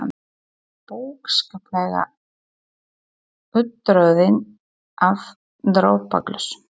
Hann var bókstaflega úttroðinn af dropaglösum.